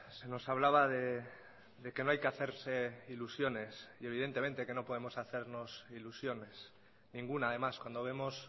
se nos hablaba de que no hay que hacerse ilusiones y evidentemente que no podemos hacernos ilusiones ninguna además cuando vemos